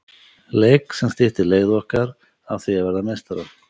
Leik sem styttir leið okkar að því að verða meistarar.